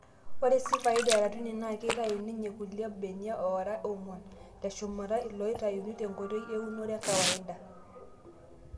Ore sii faida eratuni naa keitayu ninye kulie benia oora oong'uan teshumata iloitayuni tenkoitoi eunore e kawaida.